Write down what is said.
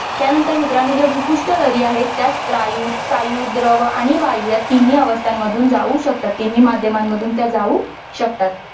थांब त्यानंतर मित्रांनो ज्या भूपृष्ठ लहरी आहेत त्या स्थायू स्थायू, द्रव आणि वायू या तीनही अवस्थांमधून जाऊ शकतात. तीनही माध्यमांमधून त्या जाऊ शकतात.